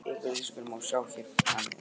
Yfirlýsinguna má sjá hér að neðan.